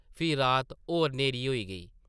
फ्ही रात होर न्हेरी होई गेई ।